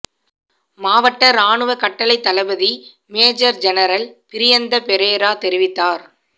மாவட்ட இராணுவ கட்டளைத் தளபதி மேஜர் ஜெனரல் பிரியந்த பெரேரா தெரிவித்தார்